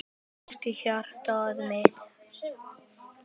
Elsku hjartað mitt.